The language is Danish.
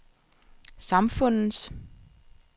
samfundets